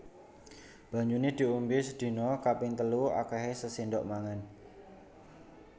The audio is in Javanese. Banyune diombe sedina kaping telu akehe sasendok mangan